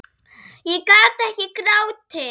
Ég gat ekki grátið.